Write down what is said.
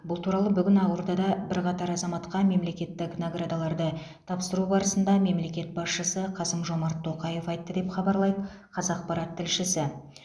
бұл туралы бүгін ақордада бірқатар азаматқа мемлекеттік наградаларды тапсыру барысында мемлекет басшысы қасым жомарт тоқаев айтты деп хабарлайды қазақпарат тілшісі